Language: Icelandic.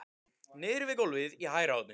Niðri við gólfið í hægra horninu!